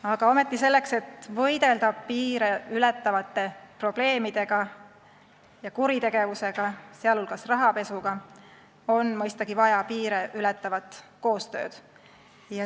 Aga selleks, et võidelda piire ületavate probleemidega ja kuritegevusega, sh rahapesuga, on mõistagi vaja piire ületavat koostööd.